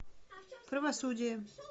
правосудие